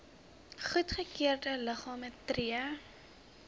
goedgekeurde liggame tree